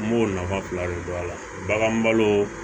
N b'o nafa fila de dɔn a la baganbalo